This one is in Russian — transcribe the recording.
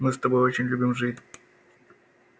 мы с тобой очень любим жить